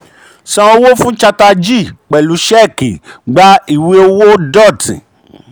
san owó um fún chatterjee pẹ̀lú ṣẹ́ẹ̀kì gbà ìwé owó dutt